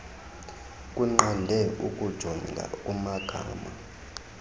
kunqande ukujonga kumgama